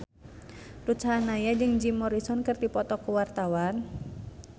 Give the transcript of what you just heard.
Ruth Sahanaya jeung Jim Morrison keur dipoto ku wartawan